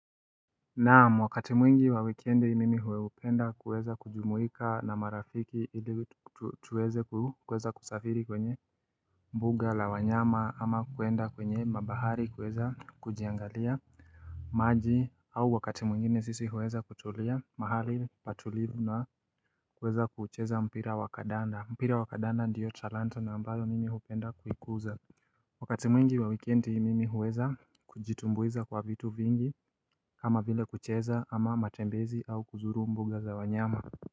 Naam, wakati mwingi wa wikendi mimi hupenda kuweza kujumuika na marafiki ili tuweze kuweza kusafiri kwenye mbuga la wanyama ama kuenda kwenye mabahari kuweza kujiangalia maji au wakati mwingine sisi huweza kutulia mahali patulivu na kuweza kuucheza mpira wa kadanda mpira wa kadanda ndiyo talanta na ambayo mimi hupenda kuikuza Wakati mwingi wa wikendi mimi huweza kujitumbuiza kwa vitu vingi kama vile kucheza ama matembezi au kuzuru mbuga za wanyama.